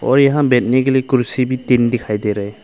और यहां बैठने के लिए कुर्सी भी तीन दिखाई दे रहे।